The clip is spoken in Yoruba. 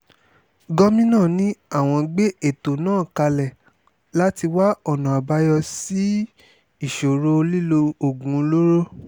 gomina ni àwọn gbé ètò náà kalẹ̀ láti wá ọ̀nà àbáyọ sí ìṣòro lílo oògùn olóró